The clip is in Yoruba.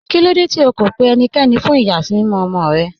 Kílòdé tí ó kó pẹ̀ ẹníkẹ́ní fún iyasimimọ̀ ọmọ́ rẹ̀?